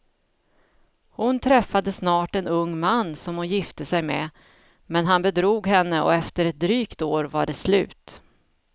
Hon träffade snart en ung man som hon gifte sig med, men han bedrog henne och efter ett drygt år var det slut.